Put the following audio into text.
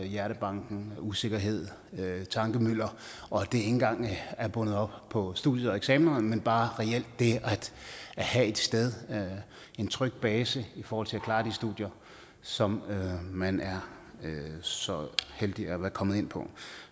hjertebanken usikkerhed og tankemylder og det ikke engang er bundet op på studierne og eksaminer men bare det at have et sted en tryg base i forhold til at klare de studier som man er så heldig at være kommet ind på